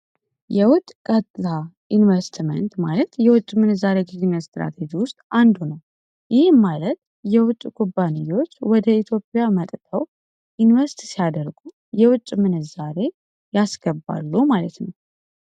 የውጭ ዩኒቨርሲቲ ማለት የውጭ ምንዛሪ ውስጥ አንዱ ነው። ማለት የውጭ ኩባንያዎች ወደ ኢትዮጵያ መንግስት ሲያደርጉ የውጭ ምንዛሪ ያስገባሉ ማለት ነው።